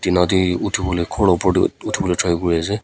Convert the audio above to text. Nate uthe pole khor la upor tey uthi pole try kure ase.